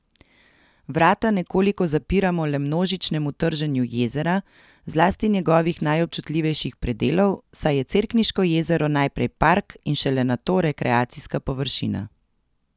Vrata nekoliko zapiramo le množičnemu trženju jezera, zlasti njegovih najobčutljivejših predelov, saj je Cerkniško jezero najprej park in šele nato rekreacijska površina.